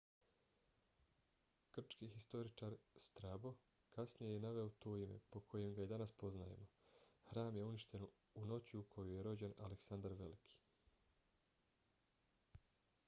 grčki historičar strabo kasnije je naveo to ime po kojem ga i danas poznajemo. hram je uništen u noći u kojoj je rođen aleksandar veliki